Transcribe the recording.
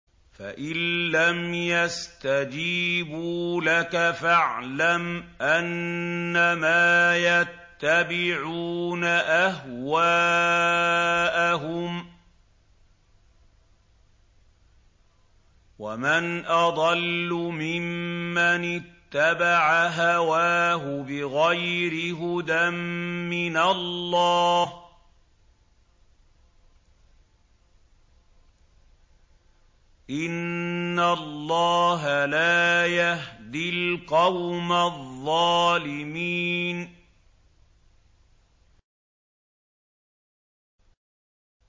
فَإِن لَّمْ يَسْتَجِيبُوا لَكَ فَاعْلَمْ أَنَّمَا يَتَّبِعُونَ أَهْوَاءَهُمْ ۚ وَمَنْ أَضَلُّ مِمَّنِ اتَّبَعَ هَوَاهُ بِغَيْرِ هُدًى مِّنَ اللَّهِ ۚ إِنَّ اللَّهَ لَا يَهْدِي الْقَوْمَ الظَّالِمِينَ